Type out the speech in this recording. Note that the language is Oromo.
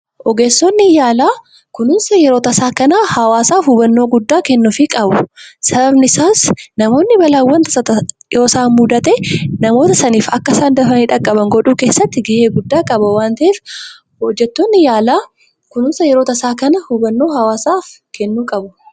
Ogeessonni yaalaa kunuunsa yeroo tasaa kana hawwaasaaf hubannoo guddaa kennuufii qabu. Sababni isaas namoonni balaawwan tasaa yoo isaan mudatee namoota saniif akka isaan dafanii dhaqqaban godhuu keessatti ga'ee guddaa qaba waan ta'eef hojjettoonni yaalaa kunuunsa yeroo tasaa kana hubannoo hawwaasaaf kennuu qabu.